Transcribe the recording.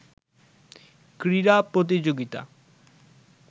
ক্রীড়া প্রতিযোগিতা